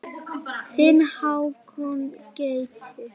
Þinn Hákon Gauti.